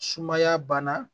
Sumaya banna